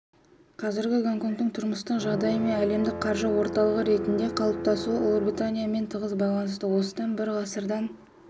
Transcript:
қазіргі гонконгтың тұрмыстық жағдайы мен әлемдік қаржы орталығы ретінде қалыптасуы ұлыбританиямен тығыз байланысты осыдан бір ғасырдан